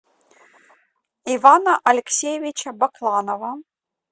ивана алексеевича бакланова